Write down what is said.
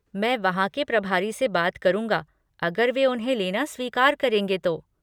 मैं वहाँ के प्रभारी से बात करूँगा अगर वे उन्हें लेना स्वीकार करेंगे तो।